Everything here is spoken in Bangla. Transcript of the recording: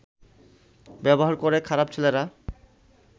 ব্যবহার করে খারাপ ছেলেরা